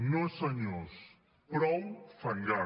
no senyors prou fangar